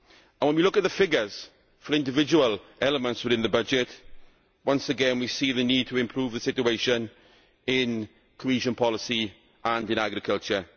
When we look at the figures for individual elements within the budget, once again we see the need to improve the situation in cohesion policy and in agriculture.